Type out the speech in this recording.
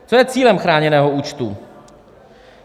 Co je cílem chráněného účtu?